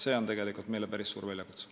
See on meile päris suur väljakutse.